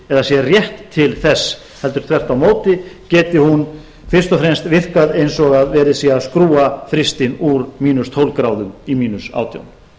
sé rétt til þess heldur þvert á móti geti hún fyrst og fremst virkað eins og það sé verið að skrúfa frystir úr mínus tólf gráðum í mínus átján